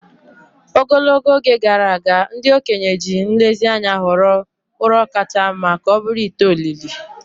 Ogologo oge gara aga, ndị okenye ji nlezianya họrọ ụrọ kacha mma ka ọ bụrụ ite olili.